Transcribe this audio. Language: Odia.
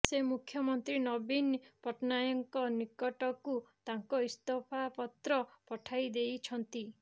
ସେ ମୁଖ୍ୟମନ୍ତ୍ରୀ ନବୀନ ପଟ୍ଟନାୟକଙ୍କ ନିକଟକୁ ତାଙ୍କ ଇସ୍ତଫାପତ୍ର ପଠାଇ ଦେଇଛନ୍ତି